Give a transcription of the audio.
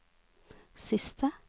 siste